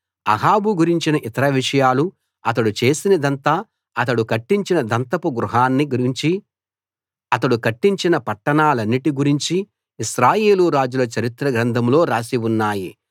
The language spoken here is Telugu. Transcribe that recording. అహాబు గురించిన ఇతర విషయాలు అతడు చేసినదంతా అతడు కట్టించిన దంతపు గృహాన్ని గురించి అతడు కట్టించిన పట్టణాలన్నిటి గురించి ఇశ్రాయేలు రాజుల చరిత్ర గ్రంథంలో రాసి ఉన్నాయి